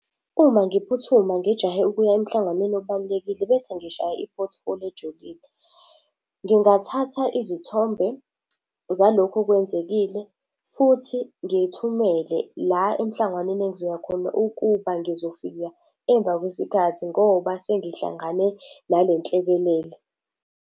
Uma ngiphuthuma ngijahe ukuya emhlanganweni obalulekile bese ngishaya i-pothole ejulile, ngingathatha izithombe zalokhu okwenzekile futhi ngiyithumele la emhlanganweni engizoya khona ukuba ngizofika emva kwesikhathi ngoba sengihlangane nale nhlekelele.